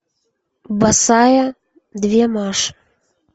босая две маши